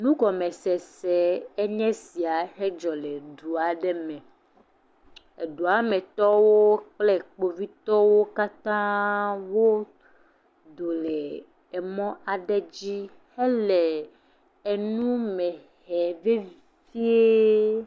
Nugɔmesese enye sia hedzɔ le du aɖe me. Edua me tɔwo kple kpovitɔwo katã wodo le emɔ aɖe dzi hele enu me hem vevie.